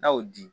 N'a y'o di